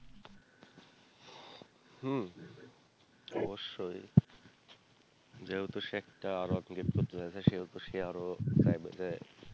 হম অবশ্যই যেহেতু সে একটা R one gift করতে চাইবে সেহেতু সে আরো চাইবে যে।